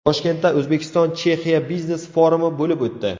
Toshkentda O‘zbekiston Chexiya biznes-forumi bo‘lib o‘tdi.